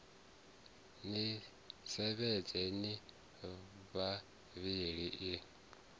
ni sevhedza ni vhavhili i